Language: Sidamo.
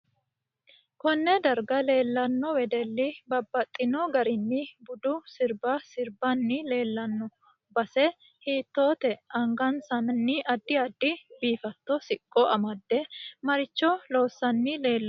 Konne darga leelanno wedelli babaxino garinni budu sirba sirbani leelanno base hiitoote angansani addi addi biifaata siqqo amade maricho loosaani leelanno